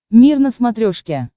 мир на смотрешке